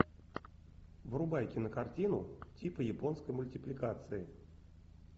врубай кинокартину типа японской мультипликации